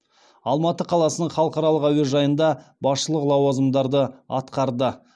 алматы қаласының халықаралық әуежайында басшылық лауазымдарды атқарды